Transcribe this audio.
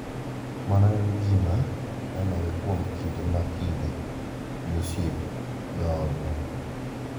Mano en gima nenore kuom kinde ka kinde gi osiepe, joodwa,